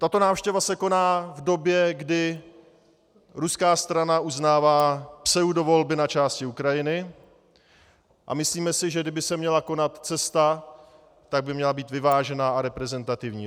Tato návštěva se koná v době, kdy ruská strana uznává pseudovolby na části Ukrajiny, a myslíme si, že kdyby se měla konat cesta, tak by měla být vyvážená a reprezentativní.